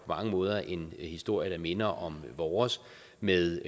mange måder en historie der minder om vores med